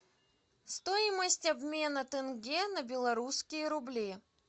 стоимость обмена тенге на белорусские рубли